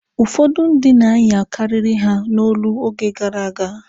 Ụfọdụ ndị na-anya karịrị ha n'olo oge gara aga.